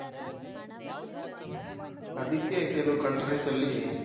ಅದಕ್ಕೆ ಕೆಲವ್ country ಅಲ್ಲಿ